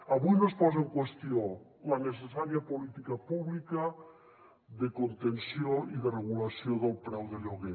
avui no es posa en qüestió la necessària política pública de contenció i de regulació del preu de lloguer